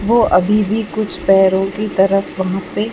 वो अभी भी कुछ पैरों की तरफ वहाँ पे --